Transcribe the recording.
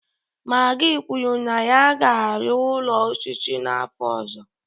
Magi kwuru na ya ga-arụ ụlọ osisi n'afọ ọzọ